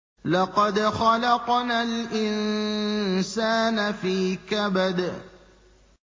لَقَدْ خَلَقْنَا الْإِنسَانَ فِي كَبَدٍ